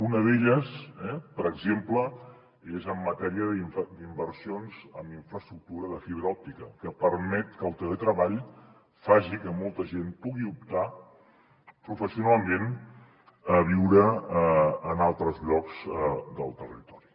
una d’elles per exemple és en matèria d’inversions en infraestructura de fibra òptica que permet que el teletreball faci que molta gent pugui optar professionalment a viure en altres llocs del territori